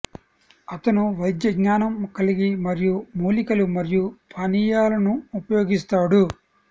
అతను వైద్య జ్ఞానం కలిగి మరియు మూలికలు మరియు పానీయాలను ఉపయోగిస్తాడు